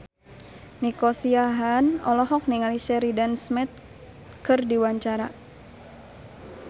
Nico Siahaan olohok ningali Sheridan Smith keur diwawancara